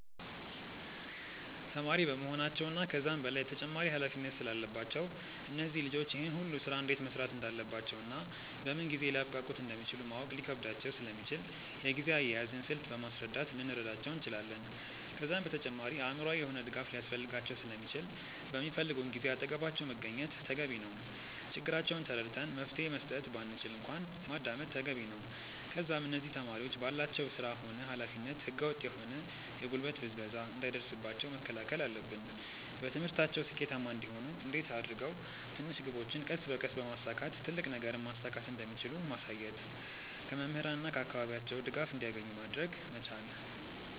ተማሪ በመሆናቸው እና ከዛም በላይ ተጨማሪ ኃላፊነት ስላለባቸው እነዚህ ልጆች ይህን ሁሉ ስራ እንዴት መስራት እንዳለባቸውና በምን ጊዜ ሊያብቃቁት እንደሚችሉ ማወቅ ሊከብዳቸው ስለሚችል የጊዜ አያያዝን ስልት በማስረዳት ልንረዳቸው እንችላለን። ከዛም በተጨማሪ አእምሮአዊ የሆነ ድጋፍ ሊያስፈልጋቸው ስለሚችል በሚፈልጉን ጊዜ አጠገባቸው መገኘት ተገቢ ነው። ችግራቸውን ተረድተን መፍትሄ መስጠት ባንችል እንኳን ማዳመጥ ተገቢ ነው። ከዛም እነዚህ ተማሪዎች ባላቸው ስራ ሆነ ኃላፊነት ህገ ወጥ የሆነ የጉልበት ብዝበዛ እንዳይደርስባቸው መከላከል አለብን። በትምህርታቸው ስኬታማ እንዲሆኑ እንዴት አድርገው ትንሽ ግቦችን ቀስ በቀስ በማሳካት ትልቅ ነገርን ማሳካት እንደሚችሉ ማሳየት። ከመምህራን እና ከአካባቢያቸው ድጋፍ እንዲያገኙ ማድረግ መቻል።